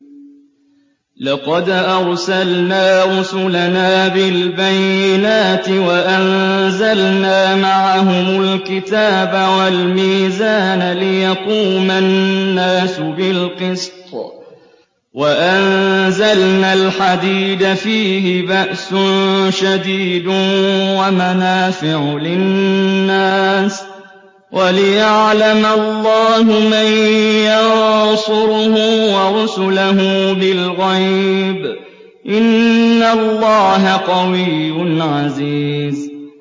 لَقَدْ أَرْسَلْنَا رُسُلَنَا بِالْبَيِّنَاتِ وَأَنزَلْنَا مَعَهُمُ الْكِتَابَ وَالْمِيزَانَ لِيَقُومَ النَّاسُ بِالْقِسْطِ ۖ وَأَنزَلْنَا الْحَدِيدَ فِيهِ بَأْسٌ شَدِيدٌ وَمَنَافِعُ لِلنَّاسِ وَلِيَعْلَمَ اللَّهُ مَن يَنصُرُهُ وَرُسُلَهُ بِالْغَيْبِ ۚ إِنَّ اللَّهَ قَوِيٌّ عَزِيزٌ